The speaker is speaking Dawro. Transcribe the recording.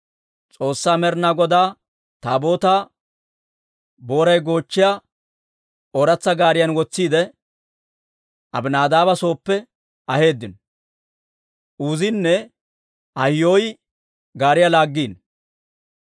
S'oossaa Med'inaa Godaa Taabootaa boray goochchiyaa ooratsa gaariyan wotsiide, Abinaadaaba sooppe aheeddino; Uuzinne Ahiyoy gaariyaa laaggiino.